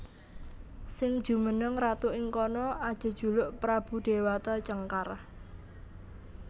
Sing jumeneng ratu ing kono ajejuluk Prabu Déwata Cengkar